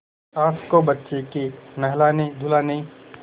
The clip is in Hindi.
सास को बच्चे के नहलानेधुलाने